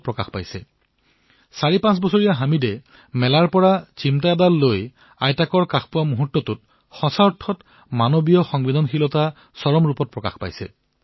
৪৫ বছৰীয়া হামিদে যেতিয়া মেলাৰ পৰা চেপেনা এডাল লৈ আহি নিজৰ আইতাকৰ কাষলৈ আহে তেতিয়া প্ৰকৃততেই মানৱীয় সংবেদনাই চৰম পৰ্যায় স্পৰ্শ কৰে